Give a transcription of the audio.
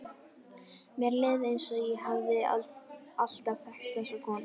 Mér leið eins og ég hefði alltaf þekkt þessa konu.